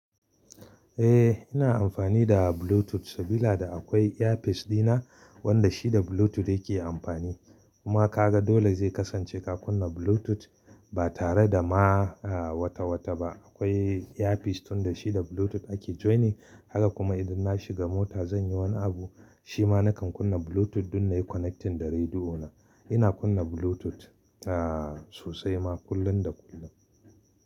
Eh ina amfani da Bluetooth saboda akwai earpiece dina wanda shi da Bluetooth yake amfani. Kuma ka ga dole zai kasance ka kunna Bluetooth ba tare da ma wata-wata ba. Akwai earpiece tun da shi da Bluetooth ake joining. Haka kuma idan na shiga mota zan yi wani abu, shi ma nakan kunna Bluetooth don na yi connecting da rediyo na. Ina kunna Bluetooth aa sosai ma kullum da kullum.